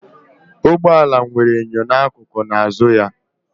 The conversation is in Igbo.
Ụgbọ ala nwere enyo n'akụkụ na azụ ya